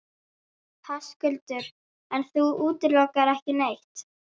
Höskuldur: En þú útilokar ekki neitt?